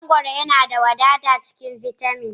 Mangoro yana da wadata a cikin bitamin